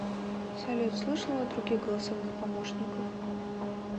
салют слышала о других голосовых помощниках